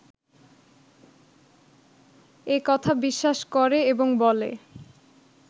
এ কথা বিশ্বাস করে এবং বলে